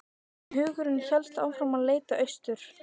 En hugurinn hélt áfram að leita austur.